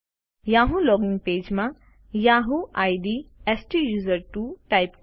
Yahoo login પેજમાં Yahoo ID સ્ટુસર્ટવો type કરો